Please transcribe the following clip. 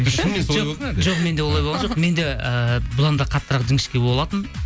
шынымен солай болды ма әлде жоқ менде олай болған жоқ менде ыыы бұдан да қаттырақ жіңішке болатын